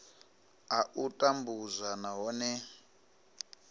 a u tambudzwa nahone i